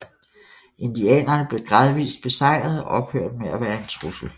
Indianerne blev gradvist besejret og ophørte med at være en trussel